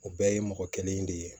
O bɛɛ ye mɔgɔ kelen de ye